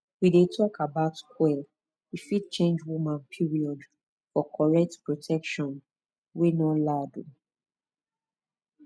we dey talk about coil e fit change woman period for correct protection wey no loud um